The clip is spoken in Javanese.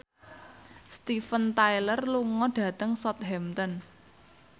Steven Tyler lunga dhateng Southampton